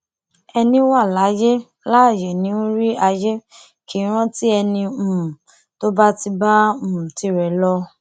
ẹní wa láyé láààyè ń rí ayé kì í rántí ẹni um tó bá ti bá um tirẹ lọ